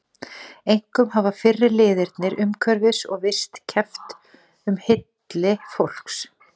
Einkum hafa fyrri liðirnir umhverfis- og vist- keppt um hylli fólks.